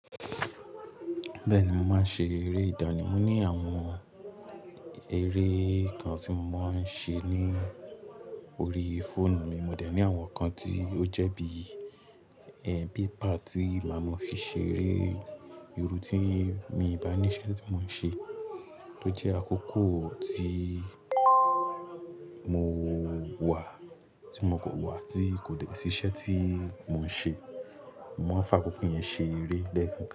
Bẹ́ẹ̀ni, mo máa ń ṣe eré ìdáni mo ní àwọn eré kan tí mo ń ṣe ní orí fóònù mi. Mo dẹ̀ ní àwọn kan tí ó jẹ́ bí paper tí máa mọ fi ṣe eré irú tí mi bá ní iṣẹ́ tí mò ń ṣe tó jẹ́ àkókò tí mo wà tí mo kò wà tí kò dẹ̀ sí iṣẹ́ tí mò ń ṣe. Mo máa ń fa àkókò yẹn ṣe eré lẹ́ẹ̀kan.